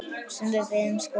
Sem við veiðum sko?